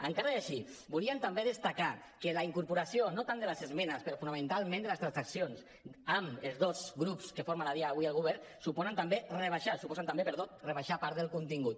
encara i així volíem també destacar que la incorporació no tant de les esmenes però fonamentalment de les transaccions amb els dos grups que formen a dia d’avui el govern suposa també rebaixar part del contingut